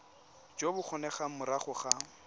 jo bo kgonegang morago ga